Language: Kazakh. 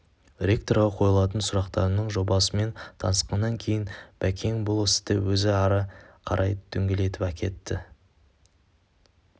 ректорға қойылатын сұрақтарымның жобасымен танысқаннан кейін бәкең бұл істі өзі ары қарай дөңгелетіп әкетті